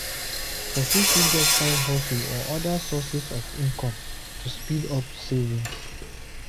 Person fit get side hustle or oda sources of income to speed up savings